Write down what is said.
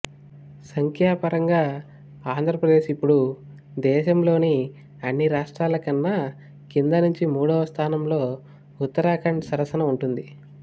సంఖ్య పరంగా ఆంధ్రప్రదేశ్ ఇప్పుడు దేశంలోని అన్ని రాష్ట్రాల కన్నా కింది నుంచి మూడవ స్థానంలో ఉత్తరాఖండ్ సరసన ఉంటుంది